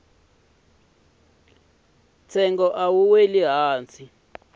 ntsengo a wuri hansi khale